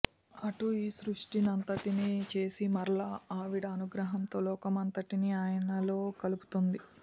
అటు ఈ సృష్టి నంతటినీ చేసి మరల ఆవిడ అనుగ్రహంతో లోకమంతటినీ ఆయనలో కలుపుతోంది